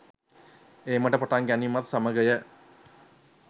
ඒමට පටන් ගැනීමත් සමගය